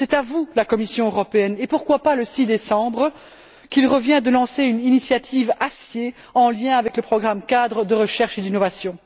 C'est à vous, la Commission européenne et pourquoi pas le 6 décembre qu'il revient de lancer une initiative Acier en lien avec le programme cadre de recherche et d'innovation.